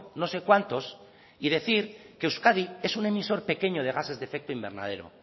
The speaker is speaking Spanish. no sé cuántos y decir que euskadi es un emisor pequeño de gases de efecto invernadero